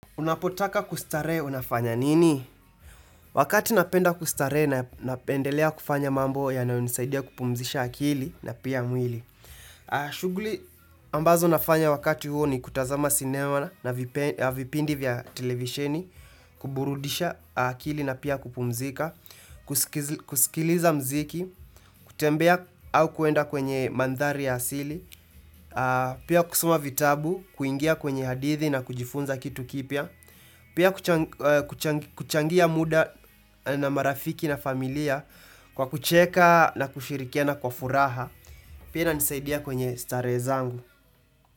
Unapotaka kustaree unafanya nini? Wakati napenda kustaree na napendelea kufanya mambo yanayonisaidia kupumzisha akili na pia mwili. Shugli ambazo nafanya wakati huo ni kutazama sinema na vipindi vya televisheni, kuburudisha akili na pia kupumzika, kuskiliza mziki, kutembea au kuenda kwenye mandhari ya asili, pia kusoma vitabu, kuingia kwenye hadithi na kujifunza kitu kipya, pia kuchangia muda na marafiki na familia kwa kucheka na kushirikiana kwa furaha. Pia inanisaidia kwenye staree zangu.